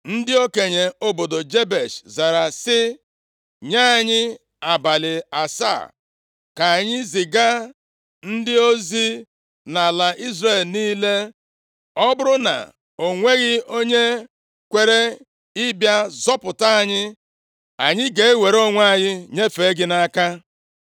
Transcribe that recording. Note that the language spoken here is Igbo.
Ndị okenye obodo Jebesh zara sị, “Nye anyị abalị asaa ka anyị ziga ndị ozi nʼala Izrel niile. Ọ bụrụ na o nweghị onye kwere ịbịa zọpụta anyị, anyị ga-ewere onwe anyị nyefee gị nʼaka.”